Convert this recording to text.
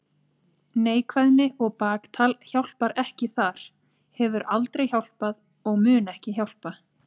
Neikvæðni og baktal hjálpar ekki þar, hefur aldrei hjálpað og mun ekki hjálpa.